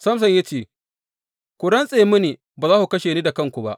Samson ya ce, Ku rantse mini ba za ku kashe ni da kanku ba.